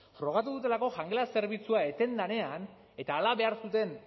frogatu dutelako jangela zerbitzua eten denean eta hala behar zuten